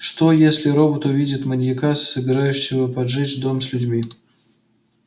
что если робот увидит маньяка собирающего поджечь дом с людьми